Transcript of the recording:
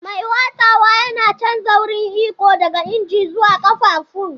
Mai watsawa yana canja wurin iko daga injin zuwa ƙafafun.